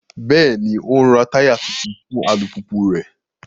Bẹẹni, o n rá taya tuntun fún alupupu rẹ